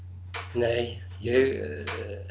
nei ég